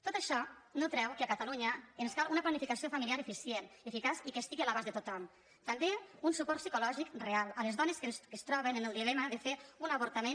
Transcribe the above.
tot això no treu que a catalunya ens cal una planificació familiar eficient eficaç i que estigui a l’abast de tothom també un suport psicològic real a les dones que es troben en el dilema de fer un avortament